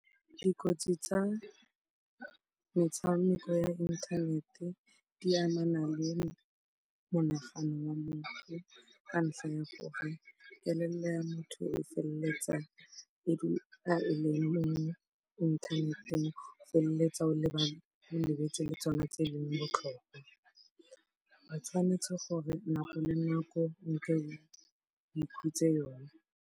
Dikotsi tsa metshameko ya inthanete di amana le monagano wa motho ka ntlha ya gore kelello ya motho e felletsa e dula e le inthaneteng. O felletsa o lebetse le tsona tse leng botlhokwa. O tshwanetse gore nako le nako o nke o e khutse yona.